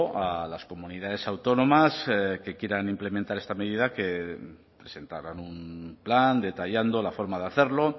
a las comunidades autónomas que quieran implementar esta medida que presentaran un plan detallando la forma de hacerlo